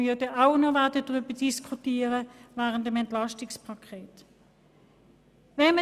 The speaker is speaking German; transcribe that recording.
Darüber werden wir beim Entlastungspaket auch noch diskutieren.